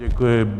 Děkuji.